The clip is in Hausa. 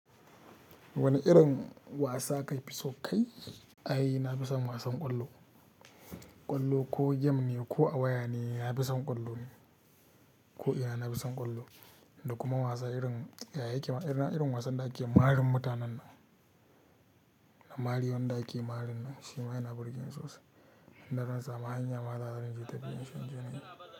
Wani irin wasa ka fi so kai? Ai, na fi son wasan ƙwallo. Ƙwallo ko game ne ko a waya ne, na fi son ƙwallo ne. Ko'ina na fi son ƙwallo, da kuma wasan irin, ya yake ma ina irin wasan da ake marin mutanen nan? Na mari wanda ake marin nan shi ma yana burge ni sosai. Inda zan sama hanyar ma zan iya ke tafiyama shikenan.